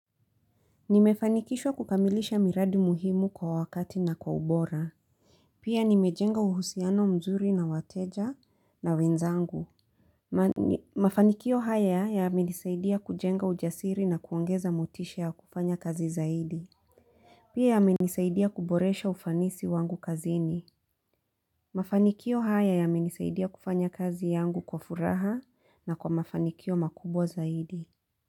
Nimefanikishwa kukamilisha miradi muhimu kwa wakati na kwa ubora. Pia nimejenga uhusiano mzuri na wateja na wenzangu. Mafanikio haya ya amenisaidia kujenga ujasiri na kuongeza motisha ya kufanya kazi zaidi. Pia amenisaidia kuboresha ufanisi wangu kazini. Mafanikio haya ya amenisaidia kufanya kazi yangu kwa furaha na kwa mafanikio makubwa zaidi.